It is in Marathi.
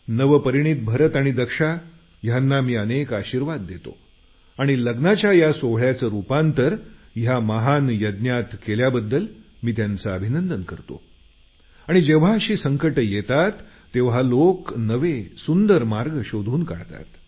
नवपरिणीत भरत आणि दक्षा यांना मी अनेक आशीर्वाद देतो आणि लग्नाच्या या सोहळ्याचं रुपांतर या महान यज्ञात केल्याबद्दल मी त्यांचे अभिनंदन करतो आणि जेव्हा अशी संकटं येतात तेव्हा लोक नवे सुंदर मार्ग शोधून काढतात